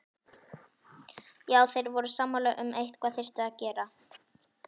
Já, þeir voru sammála um að eitthvað þyrfti að gera.